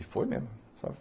E foi mesmo.